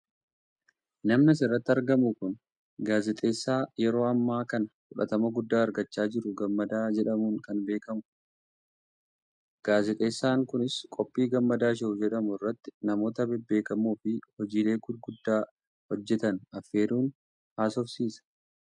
namni asirratti argamu kun gaazexeessa yeroo ammaa kana fudhatama guddaa argachaa jiru gammadaa jedhamuun kan beekamu dha. gaazexeessaan kunis qophii gammadaa show jedhamu irratti namoota bebbeekamoofi hojiilee gurguddaa hojjetan affeeruun haasofsiisa.